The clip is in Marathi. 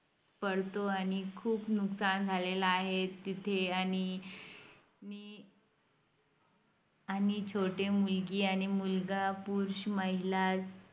पडतो आणि खुप नुकसान झालेलं आहे तिथे आणि नि आणि छोटे मुलगी आणि मुलगा पुरुष महिला